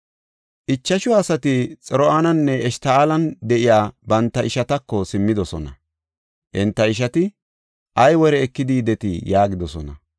Ichashu asati Xor7aninne Eshta7oolan de7iya banta ishatako simmidosona; enta ishati, “Ay wore ekidi yidetii?” yaagidosona.